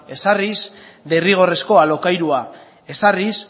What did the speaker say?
ezarriz derrigorrezko alokairua ezarrik